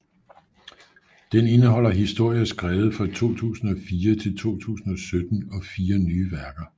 Den indeholder historier skrevet fra 2004 til 2017 og fire nye værker